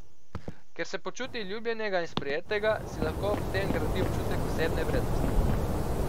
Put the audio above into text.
Ker se počuti ljubljenega in sprejetega, si lahko ob tem gradi občutek osebne vrednosti.